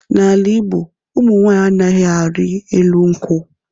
N'ala Igbo, ụmụ nwaanyi anaghị arị elu nkwu.